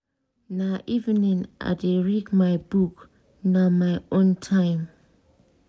na evening i dey read my book na my own time.